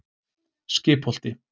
Skipholti